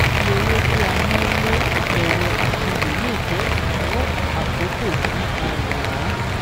Iye owó tí a ná lé ẹ̀rọ ìṣirò lè jẹ́ ìnáwó àkókò tí a rà á.